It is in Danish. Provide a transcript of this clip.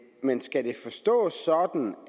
men skal det forstås sådan